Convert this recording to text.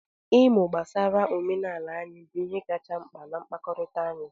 Ịmụ gbasara omenala anyị bụ ihe kacha mkpa na mkpakọrịta anyị.